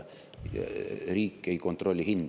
Riik ei kontrolli hindu.